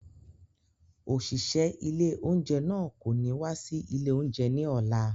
Òṣìṣẹ́ ilé oúnjẹ náà kò ní wá sí ilé oúnjẹ ni ọ̀la.